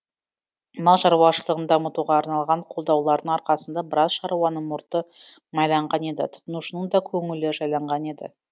мал шаруашылығын дамытуға арналған қолдаулардың арқасында біраз шаруаның мұрты майланған еді тұтынушының да көңілі жайланған еді